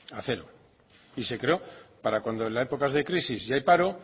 a cero y se creó para cuando en las épocas de crisis y hay paro